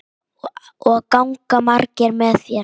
Og ganga margir með þér?